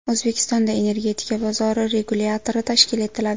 O‘zbekistonda Energetika bozori regulyatori tashkil etiladi.